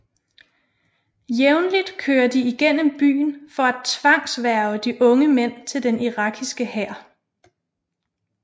Jævntligt kører de igennem byen for at tvangshverve de unge mænd til den irakiske hær